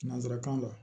Nanzarakan la